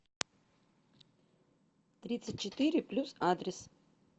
тридцать четыре плюс адрес